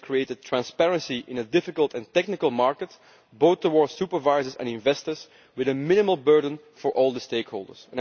We have created transparency in a difficult and technical market, both towards supervisors and investors with a minimal burden for all the stakeholders.